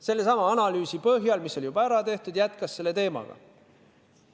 Sellesama analüüsi põhjal, mis oli juba ära tehtud, ta jätkas selle teemaga.